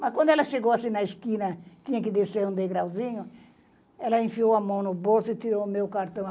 Mas, quando ela chegou assim na esquina, tinha que descer um degrauzinho, ela enfiou a mão no bolso e tirou o meu cartão.